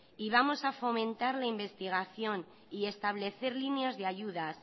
y vamos a fomentar la investigación y establecer líneas de ayudas